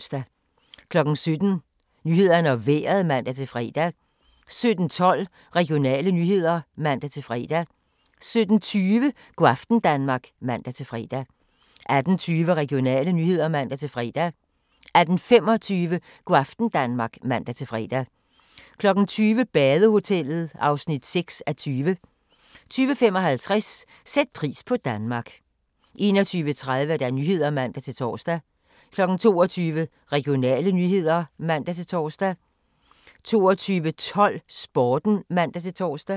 17:00: Nyhederne og Vejret (man-fre) 17:12: Regionale nyheder (man-fre) 17:20: Go' aften Danmark (man-fre) 18:20: Regionale nyheder (man-fre) 18:25: Go' aften Danmark (man-fre) 20:00: Badehotellet (6:20) 20:55: Sæt pris på Danmark 21:30: Nyhederne (man-tor) 22:00: Regionale nyheder (man-tor) 22:12: Sporten (man-tor)